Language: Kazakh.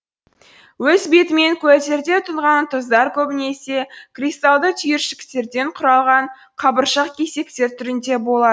өз бетімен көлдерде тұнған тұздар көбінесе кристалды түйіршіктерден құралған қабыршақ кесектер түрінде болады